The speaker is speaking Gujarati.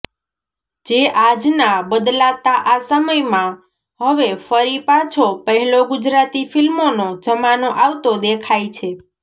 જે આજના બદલાતા આ સમયમાં હવે ફરી પાછો પહેલો ગુજરાતી ફિલ્મોનો જમાનો આવતો દેખાય છે